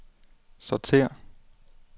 sortér